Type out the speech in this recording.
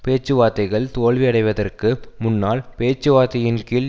பேச்சுவார்த்தைகள் தோல்வியடைவதற்கு முன்னால் பேச்சுவார்த்தையின் கீழ்